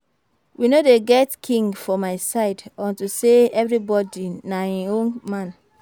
We no dey get King for my side unto say everybody na im own man